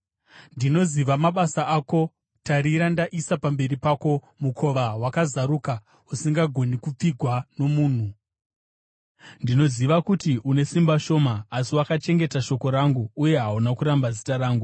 Ndinoziva mabasa ako. Tarira, ndaisa pamberi pako mukova wakazaruka usingagoni kupfigwa nomunhu. Ndinoziva kuti une simba shoma, asi wakachengeta shoko rangu uye hauna kuramba zita rangu.